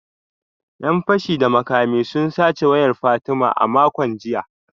‘Yan fashi da makami sun sace wayar Fatima a makon jiya